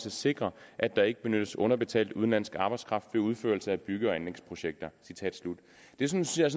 at sikre at der ikke benyttes underbetalt udenlandsk arbejdskraft ved udførelse af bygge og anlægsprojekter det synes jeg